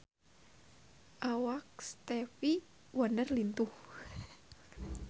Awak Stevie Wonder lintuh